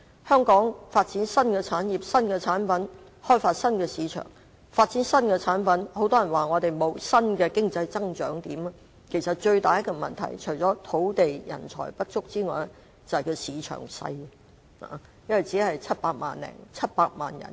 香港要發展新產業、新產品、開發新市場、發展新產品，但很多人說香港沒有新的經濟增長點，其實除了土地、人才不足之外，最大的問題是市場小，因為香港人口始終只有700多萬人。